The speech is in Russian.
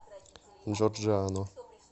джорджиано